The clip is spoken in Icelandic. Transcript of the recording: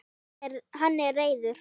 Hann er reiður.